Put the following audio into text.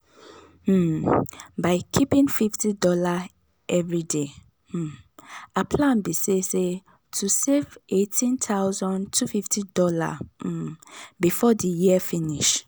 um by keeping fifty dollarsevery day um her plan be say say to save $18250 um before the year finish.